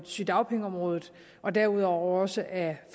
sygedagpengeområdet og derudover også af